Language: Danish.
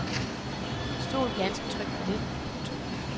Stol ganske trygt på det. punktum